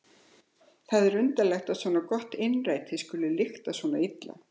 Það er undarlegt að svo gott innræti skuli lykta svona illa.